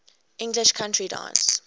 english country dance